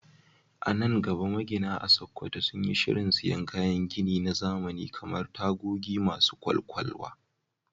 A nan gaba, magina a Sakkwato sun yi shirin siyan kayan gini na zamani kamar tagogi masu kwakwalwa